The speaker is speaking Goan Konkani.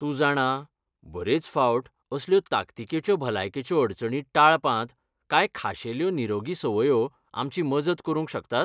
तूं जाणां, बरेच फावट असल्यो ताकतीकेच्यो भलायकेच्यो अडचणी टाळपांत कांय खाशेल्यो निरोगी संवंयो आमची मजत करूंक शकतात?